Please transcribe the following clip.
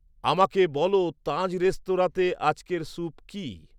আমাকে বল তাজ রেস্তরাঁতে আজকের স্যুপ কী